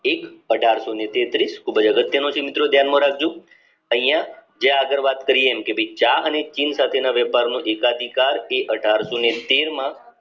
એક અઢારશોને તેત્રીશ ખુબ જ અગત્ય નું છે મિત્રો ધ્યાન માં રાખજો અહીંયા જે આગળ વાત કરીયે એમ કે ચા અને ચીન સાથે ના વેપારનો એકાધિકાર એ અઢારશોને તેરમા